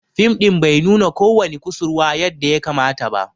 Fim din bai nuna ko wani kusurwa yadda ya kamata ba.